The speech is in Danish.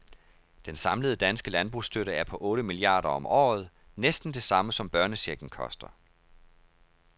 Den samlede danske landbrugsstøtte er på otte milliarder om året, næsten det samme som børnechecken koster.